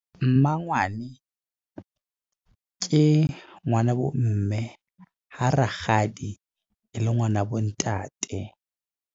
Mmangwane ke ngwana bo mme. Ha rakgadi e le ngwana bo ntate.